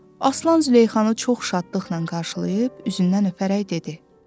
Aslan Züleyxanı çox şadlıqla qarşılayıb, üzündən öpərək dedi.